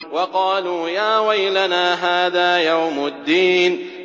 وَقَالُوا يَا وَيْلَنَا هَٰذَا يَوْمُ الدِّينِ